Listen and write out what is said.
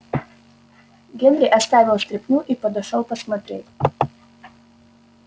генри оставил стряпню и подошёл посмотреть